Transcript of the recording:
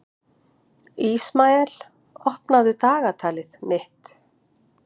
Ísmael, opnaðu dagatalið mitt.